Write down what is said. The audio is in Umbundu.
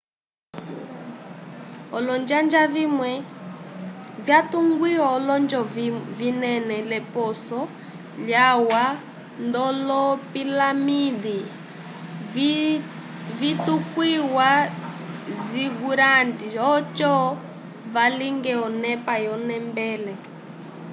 olonjanja vimwe vyatungiwa olonjo vinene l'eposo lyalwa nd'olopilaminde vitukwiwa zigurates oco valinge onepa yolonembele